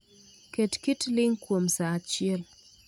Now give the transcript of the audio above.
Ket kit ling' kuom sa achiel